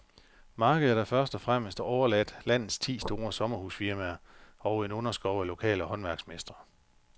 Markedet er først og fremmest overladt landets ti store sommerhusfirmaer og en underskov af lokale håndværksmestre.